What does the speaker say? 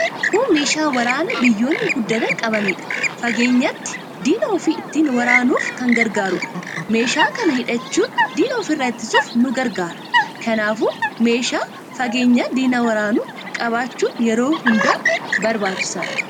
Kun meeshaa waraanaa biyyoonni guddatan qabataniidha. Fageenyatti diina ufii ittiin waraanuf kan gargaarudha. Meeshaa kana hidhachuun diina ufirraa ittisuuf nu gargaara. Kanaafuu meeshaa fageenyatti diina waraanu qabaachuun yeroo hundaa barbaachisaadha